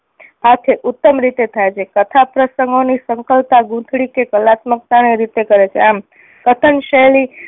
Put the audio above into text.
સાથે ઉત્તમ રીતે થાય છે. કથા પ્રસંગો ની સંકલતા, ગૂંથણી કે કલાત્મકતા ને રીતે કરે છે. આમ કથન શૈલી